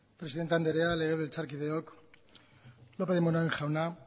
presidente anderea legebiltzarkideok lópez de munain jauna